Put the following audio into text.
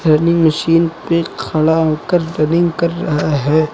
Running machine पे खड़ा होकर रनिंग कर रहा है।